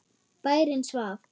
Bærinn svaf.